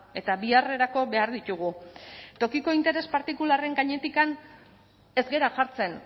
eta biharrerako behar ditugu tokiko interes partikularren gainetik ez gara jartzen